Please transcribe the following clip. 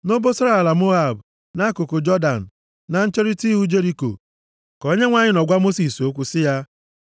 Nʼobosara ala Moab, nʼakụkụ Jọdan, na ncherita ihu Jeriko ka Onyenwe anyị nọ gwa Mosis okwu sị ya,